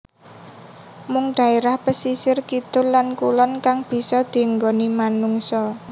Mung dhaerah pesisir kidul lan kulon kang bisa dienggoni manungsa